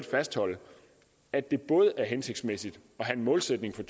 fastholde at det er hensigtsmæssigt at have en målsætning for